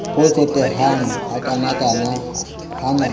bo tsotehang hakanakana na ha